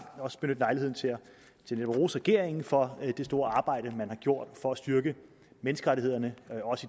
benytte lejligheden til at rose regeringen for det store arbejde man har gjort for at styrke menneskerettighederne